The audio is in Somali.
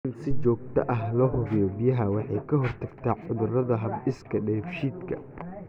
In si joogto ah loo hubiyo biyaha waxay ka hortagtaa cudurrada hab-dhiska dheefshiidka.